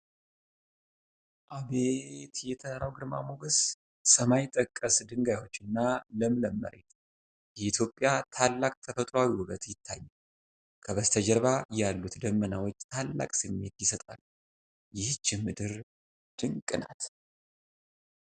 አቤት የተራራው ግርማ ሞገስ! ሰማይ ጠቀስ ድንጋዮችና ለምለም መሬት! የኢትዮጵያ ታላቅ ተፈጥሮአዊ ውበት ይታያል! ከበስተጀርባ ያሉት ደመናዎች ታላቅ ስሜት ይሰጣሉ። ይህች ምድር ድንቅ ናት!